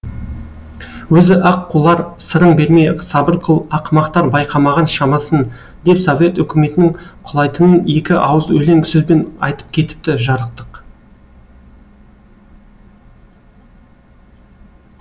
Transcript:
өзі ақ құлар сырың берме сабыр қыл ақымақтар байқамаған шамасын деп совет өкіметінің құлайтынын екі ауыз өлең сөзбен айтып кетіпті жарықтық